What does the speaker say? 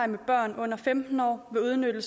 den baggrund udmønte